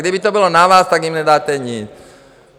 Kdyby to bylo na vás, tak jim nedáte nic.